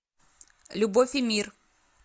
любовь и мир